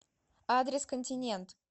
адрес континент